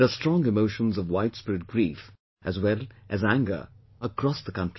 There are strong emotions of widespread grief as well as anger across the country